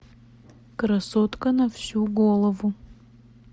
красотка на всю голову